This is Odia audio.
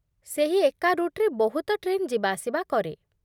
ସେହି ଏକା ରୁଟ୍‌ରେ ବହୁତ ଟ୍ରେନ୍ ଯିବାଆସିବା କରେ ।